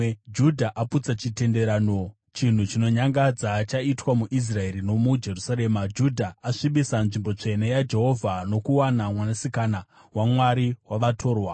Judha aputsa chitenderano. Chinhu chinonyangadza chaitwa muIsraeri nomuJerusarema: Judha asvibisa nzvimbo tsvene yaJehovha, nokuwana mwanasikana wamwari wavatorwa.